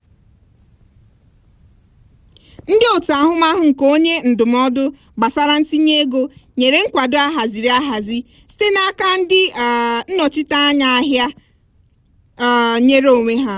ndị otu ahụmahụ nke onye ndụmọdụ gbasara ntinye ego nyere nkwado ahaziri ahazi site n'aka ndị um nnọchiteanya ahịa um nyere onwe ha.